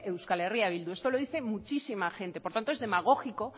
eh bildu esto lo dice muchísima gente por tanto es demagógico